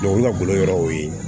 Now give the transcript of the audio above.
o lagolo yɔrɔ o ye